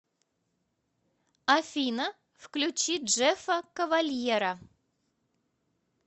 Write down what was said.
афина включи джеффа кавальера